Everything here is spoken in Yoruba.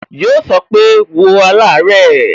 Yo so pé, "wo alare"